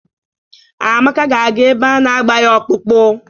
Amaka ga-aga ebe a na-agba ya ọkpụkpụ.